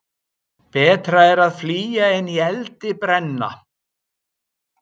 Betra er að flýja en í eldi brenna.